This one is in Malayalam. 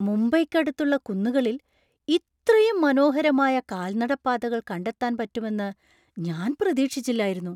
മുംബൈയ്ക്കടുത്തുള്ള കുന്നുകളിൽ ഇത്രയും മനോഹരമായ കാൽനട പാതകൾ കണ്ടെത്താൻ പറ്റുമെന്ന് ഞാൻ പ്രതീക്ഷിച്ചില്ലായിരുന്നു.